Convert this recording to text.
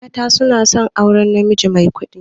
Mata suna son aurar najimi mai kuɗi.